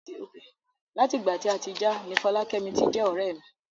Lati ìgbà tí a ti já ni Folakemi ti jẹ ọrẹ mi.